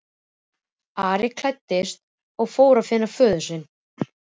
Ari klæddist og fór að finna föður sinn.